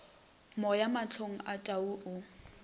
moya mahlong a tau o